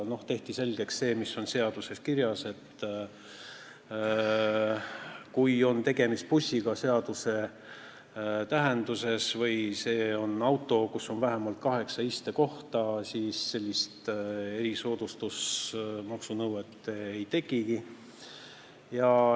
Tehti selgeks see, mis on seaduses kirjas, et kui on tegemist bussiga seaduse tähenduses või see on auto, kus on vähemalt kaheksa istekohta, siis sellist erisoodustusmaksu nõuet ei tekigi.